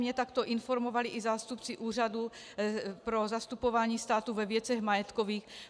Mě takto informovali i zástupci Úřadu pro zastupování státu ve věcech majetkových.